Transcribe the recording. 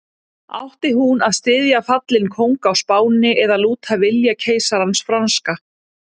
Átti hún að styðja fallinn kóng á Spáni eða lúta vilja keisarans franska?